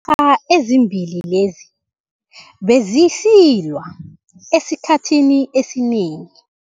a ezimbili lezi bezisilwa esikhathini esinengi.